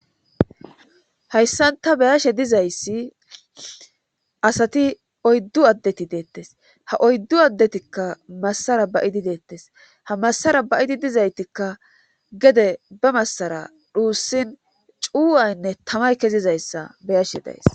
hayssan ta beyashe dizayssi asati oyddu addeti deettes ha oyddu addetikka massara bayidi deettes ha masara bayidi dizaytikka gede ba massara dhuussin cuwaynne tamay kezizayssa beyashe days